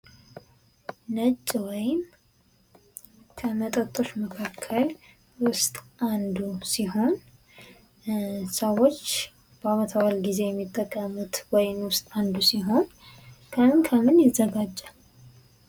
ነጭ ወይም ከመጠጦች መካከል ዉስጥ አንዱ ሲሆን ሰዎች በአመት በአል ጊዜ የሚጠቀሙት ወይን ውስጥ አንዱ ሲሆን ከምን ከምን ይዘጋጃል?